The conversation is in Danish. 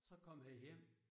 Så kom han hjem